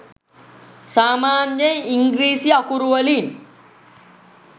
සාමාන්‍යයෙන් ඉංග්‍රීසි අකුරු වලින්